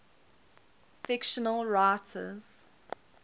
fictional writers